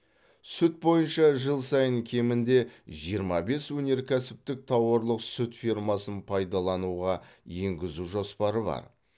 сүт бойынша жыл сайын кемінде жиырма бес өнеркәсіптік тауарлық сүт фермасын пайдалануға енгізу жоспары бар